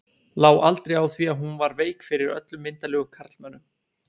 Lá aldrei á því að hún var veik fyrir öllum myndarlegum karlmönnum.